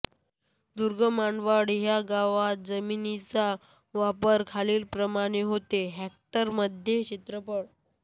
दूर्गमानवाड ह्या गावात जमिनीचा वापर खालीलप्रमाणे होतो हेक्टरमध्ये क्षेत्रफळ